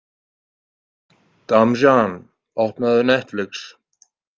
Damjan, opnaðu Netflix.